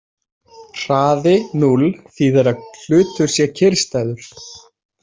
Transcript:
Hraði núll þýðir að hlutur sé kyrrstæður.